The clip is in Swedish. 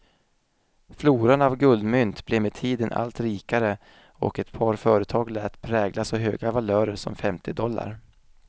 Floran av guldmynt blev med tiden allt rikare och ett par företag lät prägla så höga valörer som femtio dollar.